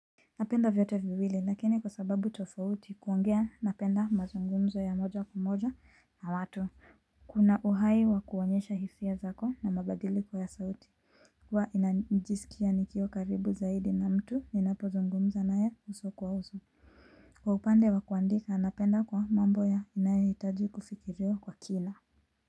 Napenda vyote viwili lakini kwa sababu tofauti kuongea napenda mazungumzo ya moja kwa moja na watu Kuna uhai wa kuonyesha hisia zako na mabadiliko ya sauti huwa najisikia nikiwa karibu zaidi na mtu ninapozungumza naye uso kwa uso Kwa upande wa kuandika napenda kwa mambo yanayohitaji kufikiriwa kwa kina.